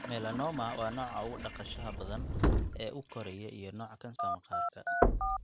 Melanoma waa nooca ugu dhaqsaha badan ee u koraya iyo nooca kansarka maqaarka.